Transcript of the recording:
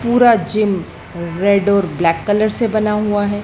पूरा gym red और black colour से बना हुआ है।